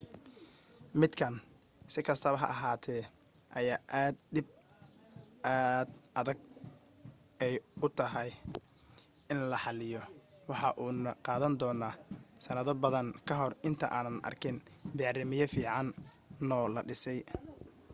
midkan si kastaba ha ahaate ayaa ah dhib aad ay u adag tahay in la xaliyo waxa uuna qaadan doona sanado badan kahor inta aanan arkin bacriimiye fiicano la dhisay